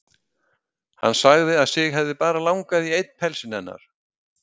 Hann sagði að sig hefði bara langað í einn pelsinn hennar.